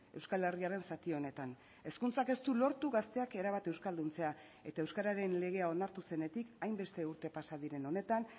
euskal herriaren zati honetan hezkuntzak ez du lortu gazteak erabat euskalduntzea eta euskararen legea onartu zenetik hainbeste urte pasa diren honetan